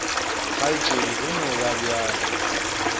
kgaetšedi go no ba bjalo